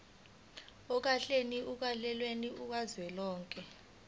ohlakeni lukahulumeni kazwelonke